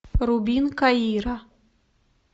рубин каира